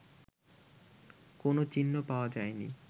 কোন চিহ্ন পাওয়া যায়নি